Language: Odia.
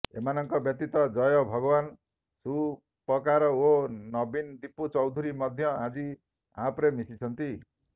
ଏମାନଙ୍କ ବ୍ୟତୀତ ଜୟ ଭଗୱାନ ସୁପକାର ଓ ନବୀନ ଦିପୁ ଚୌଧୁରୀ ମଧ୍ୟ ଆଜି ଆପରେ ମିଶିଛନ୍ତି